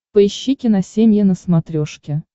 поищи киносемья на смотрешке